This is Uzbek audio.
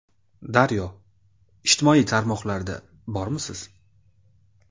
Daryo: Ijtimoiy tarmoqlarda bormisiz?